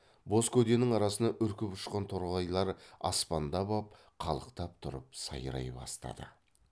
боз көденің арасынан үркіп ұшқан торғайлар аспандап ап қалықтап тұрып сайрай бастады